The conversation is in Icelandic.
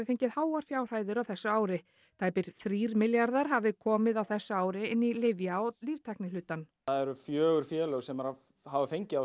fengið háar fjárhæðir á þessu ári tæpir þrír milljarðar hafi komið á þessu ári inn í lyfja og líftæknihlutann það eru fjögur félög sem hafa fengið